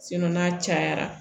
n'a cayara